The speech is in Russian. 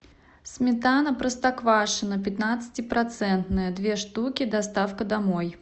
сметана простоквашино пятнадцатипроцентная две штуки доставка домой